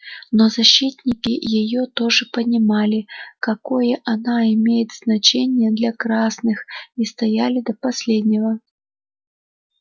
но защитники её тоже понимали какое она имеет значение для красных и стояли до последнего